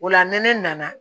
O la ni ne nana